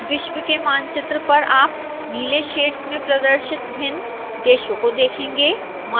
विश्व के मानचित्र पर आप नीले शेड्स में प्रदर्शित भिन्न देशों को देखेंगे